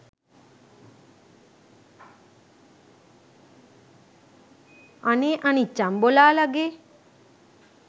අනේ අනිච්චං බොලාලගේ